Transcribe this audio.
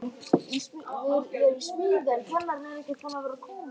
Þú stendur þig vel, Ellen!